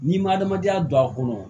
N'i ma adamadenya don a kɔnɔ